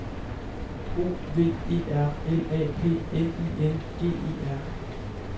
O V E R L A P N I N G E R